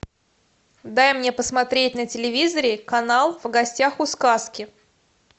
дай мне посмотреть на телевизоре канал в гостях у сказки